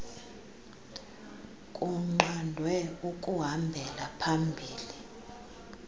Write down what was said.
kunqandwe ukuhambela phambili